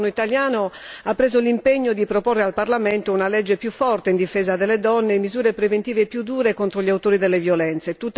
Il nuovo governo italiano ha preso l'impegno di proporre al parlamento una legge più forte in difesa delle donne e misure preventive più dure contro gli autori di violenze.